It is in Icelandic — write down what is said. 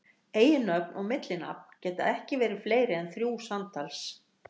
Eiginnöfn og millinafn geta ekki verið fleiri en þrjú samtals.